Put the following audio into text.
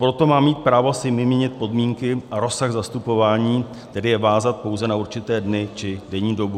Proto má mít právo si vymínit podmínky a rozsah zastupování, tedy je vázat pouze na určité dny či denní dobu.